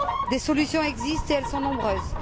Des solutions existent et elles sont nombreuses.